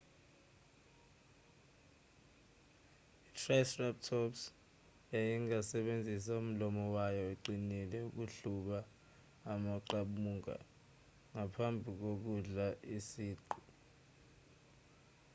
itriceratops yayingasebenzisa umlomo wayo oqinile ukuhluba amaqabunga ngaphambi kokudla isiqu